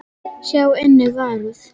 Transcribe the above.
Sjá einnig Varúð.